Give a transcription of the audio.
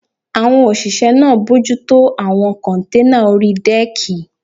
Àwọn òṣìṣẹ́ náà bojútó àwọn kọ́nténà orí dẹ́ẹ̀kì